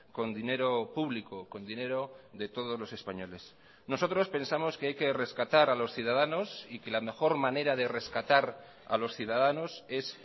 con dinero publico con dinero de todos los españoles nosotros pensamos que hay que rescatar a los ciudadanos y que la mejor manera de rescatar a los ciudadanos es